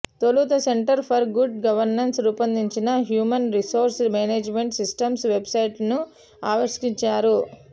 తొలుత centre for good governance రూపొందించిన human resource management systems వెబ్సైట్ను ఆవిష్కరించారు